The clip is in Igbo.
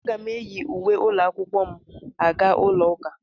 Aga m eyi uwe ụlọ akwụkwọ m aga ụlọ ụka.